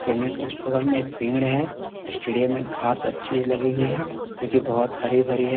Payment उस बगल में एक पेड़ है स्टेडियम में घास अच्छी लगी हुई है जो की बहुत हरी-भरी है।